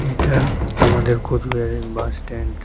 এটা আমাদের কোচবিহারের বাস স্ট্যান্ড ।